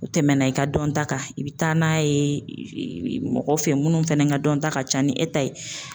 U tɛmɛna i ka dɔnta kan, i bɛ taa n'a ye mɔgɔ fɛ minnu fɛnɛ ka dɔnta ka ca ni e ta ye.